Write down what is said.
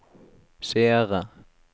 seere